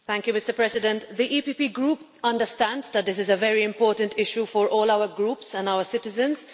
Mr President, the EPP Group understands that this is a very important issue for all our Groups and our citizens.